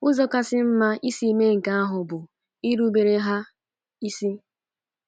Ụzọ kasịkwa mma isi mee nke ahụ bụ irubere ha isi.